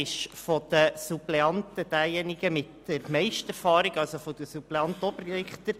Von den Suppleanten am Obergericht ist er derjenigen mit der grössten Erfahrung.